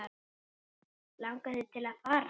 Langar þig til að fara?